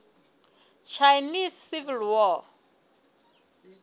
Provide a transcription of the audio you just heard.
chinese civil war